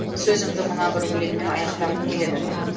сөзімді мына бір өлеңіммен аяқтағым келеді